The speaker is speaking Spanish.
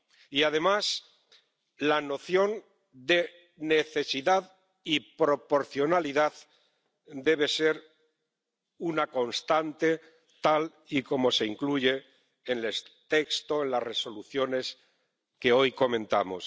y, además, la noción de necesidad y proporcionalidad debe ser una constante, tal y como se incluye en el texto, en las resoluciones que hoy comentamos.